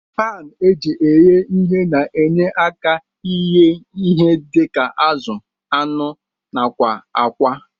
Pan eji eghe ihe na enye aka ighe ihe dika azu, anụ nakwa akwa.